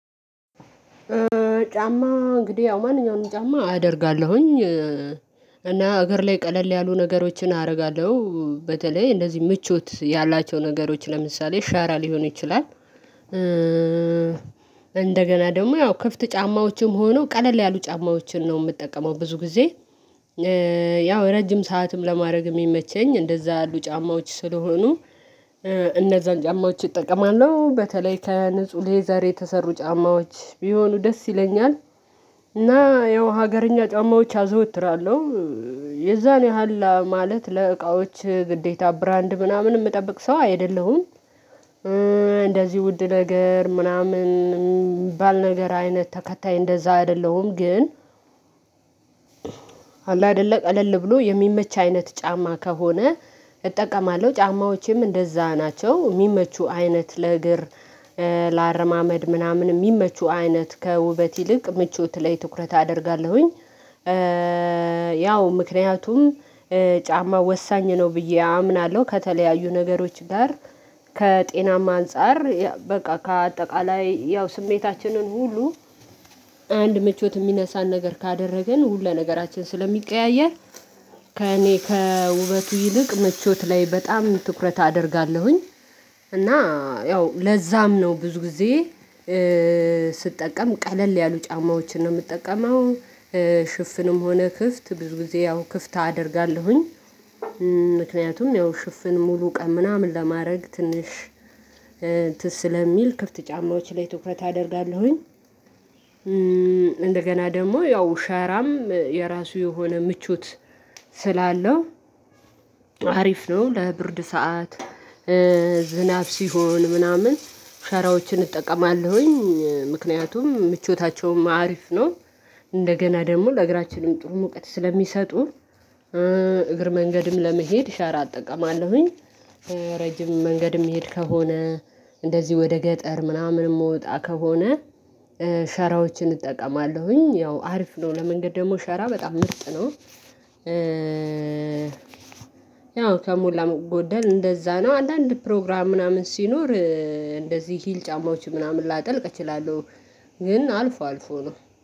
ጫማ እንግዲህ ያው ማንኛውንም ጫማ አደርጋለሁኝ። እና አገር ላይ ቀለል ያሉ ነገሮችን አደርጋለሁ በተለይ እንደዚህ ምቾት ያላቸው ነገሮች ለምሳሌ ሻራ ሊሆን ይችላል። እንደገና ደግሞ ያው ክፍት ጫማዎችም ሆነው ቀለል ያሉ ጫማዎችን ነው የምጠቀመው ብዙ ጊዜ። ያው ረጅም ሰዓትም ለማድረግ የሚመቸኝ እንደዛ ያሉ ጫማዎች ስለሆኑ። እነዛን ጫማዎች እጠቀማለሁ በተለይ ከንፁ ሌዘር የተሰሩ ጫማዎች ቢሆኑ ደስ ይለኛል። እና ያው ሀገርኛ ጫማዎች አዘወትራለሁ። የዛን ያህል ማለት ለእቃዎች ግዴታ ብራንድ ምናምን የምጠብቅ ሰው አይደለሁም። እንደዚህ ውድ ነገር ምናምን የሚባል ነገር አይነት ተከታይ እንደዛ አይደለሁም ግን። አይደለም ቀለል ብሎ የሚመች አይነት ጫማ ከሆነ። እጠቀማለሁ ጫማዎችም እንደዛ ናቸው የሚመቹ አይነት ለእግር። ለአረማመድ ምናምን የሚመቹ አይነት ከውበት ይልቅ ምቾት ላይ ትኩረት አደርጋለሁኝ። ያው ምክንያቱም ጫማ ወሳኝ ነው ብዬ አምናለሁ። ከተለያዩ ነገሮች ጋር ከጤናማ አንፃር በቃ ከአጠቃላይ ያው ስሜታችንን ሁሉ አንድ ምቾት የሚነሳን ነገር ካደረግን ሁሉ ለነገራችን ስለሚቀያየር። ከእኔ ከውበቱ ይልቅ ምቾት ላይ በጣም ትኩረት አደርጋለሁኝ። እና ያው ለዛም ነው ብዙ ጊዜ። ስጠቀም ቀለል ያሉ ጫማዎችን ነው የምትጠቀመው። ሽፍንም ሆነ ክፍት ብዙ ጊዜ ያው ክፍት አደርጋለሁኝ። ምክንያቱም ያው ሽፍን ሙሉ ቀን ምናምን ለማድረግ ትንሽ ስለሚል ክፍት ጫማዎች ላይ ትኩረት አደርጋለሁኝ። እንደገና ደግሞ ያው ሸራም የራሱ የሆነ ምቾት ስላለው። አሪፍ ነው ለብርድ ሰዓት። ዝናብ ሲሆን ምናምን ሸራዎችን እጠቀማለሁኝ ምክንያቱም ምቾታቸውም አሪፍ ነው። እንደገና ደግሞ ለእግራችንም ጥሩ ሙቀት ስለሚሰጡ። እግር መንገድም ለመሄድ ሻራ እጠቀማለሁኝ። ረጅም መንገድም እምሄድ ከሆነ እንደዚህ ወደ ገጠር ምናምን የምወጣ ከሆነ። ሸራዎችን እጠቀማለሁኝ ያው አሪፍ ነው ለመንገድ ደግሞ ሸራ በጣም ምርጥ ነው። ያው ከሞላ ጎደል እንደዛ ነው አንዳንድ ፕሮግራም ምናምን ሲኖር እንደዚህ ሂል ጫማዎች ምናምን ላጠልቅ እችላለሁ። ግን አልፎ አልፎ ነው